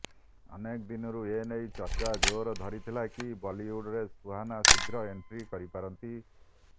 ଅନେକ ଦିନରୁ ଏନେଇ ଚର୍ଚ୍ଚା ଜୋର ଧରିଥିଲା କି ବଲିଉଡରେ ସୁହାନା ଶୀଘ୍ର ଏଣ୍ଟ୍ରି କରିପାରନ୍ତି